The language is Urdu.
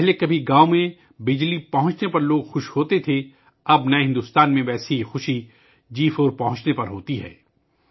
پہلے کبھی گاؤں میں بجلی پہنچنے پر لوگ خوش ہوتے تھے، اب نئے بھارت میں ویسی ہی خوشی 4 جی پہنچنے پر ہوتی ہے